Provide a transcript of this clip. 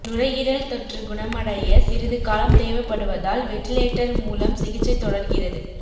நுரையீரல் தொற்று குணமடைய சிறிது காலம் தேவைப்படுவதால் வெண்டிலேட்டர் மூலம் சிகிச்சை தொடர்கிறது